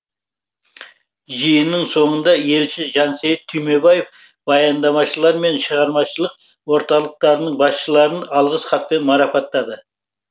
жиынның соңында елші жансейіт түймебаев баяндамашылар мен шығармашылық орталықтарының басшыларын алғыс хатпен марапаттады